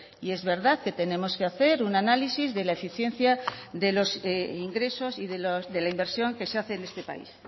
y es verdad que tenemos que hacer un análisis de la eficiencia de los ingresos y de la inversión que se hace en este país